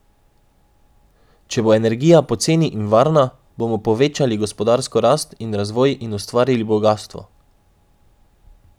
Če bo energija poceni in varna, bomo povečali gospodarsko rast in razvoj in ustvarili bogastvo.